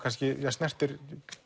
snertir